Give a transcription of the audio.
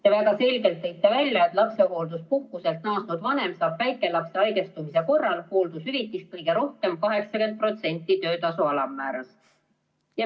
Te väga selgelt tõite välja, et lapsehoolduspuhkuselt naasnud vanem saab väikelapse haigestumise korral hooldushüvitist 80% töötasu alammäärast.